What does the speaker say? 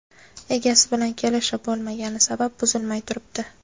Egasi bilan kelishib bo‘lmagani sabab, buzilmay turibdi.